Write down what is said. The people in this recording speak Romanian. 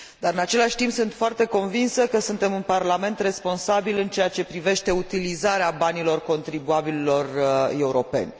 În același timp, sunt foarte convinsă că suntem un parlament responsabil în ceea ce privește utilizarea banilor contribuabililor europeni.